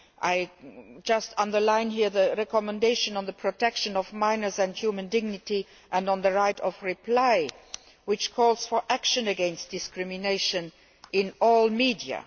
I would just underline here the recommendation on the protection of minors and human dignity and on the right of reply, which calls for action against discrimination in all media.